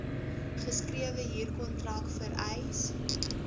geskrewe huurkontrak vereis